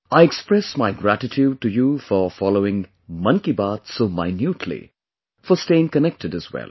I express my gratitude to you for following Mann ki Baat so minutely; for staying connected as well